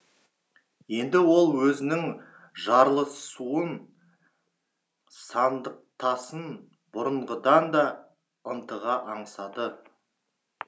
енді ол өзінің жарлысуын сандықтасын бұрынғыдан да ынтыға аңсады